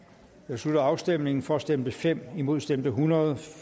slutter afstemningen for stemte fem imod stemte hundrede